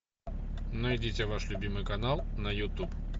найдите ваш любимый канал на ютуб